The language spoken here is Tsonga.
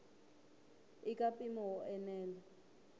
i ka mpimo wo enela